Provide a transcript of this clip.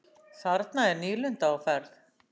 Þarna er nýlunda á ferð.